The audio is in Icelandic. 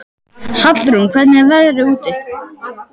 Hallrún, hvernig er veðrið úti?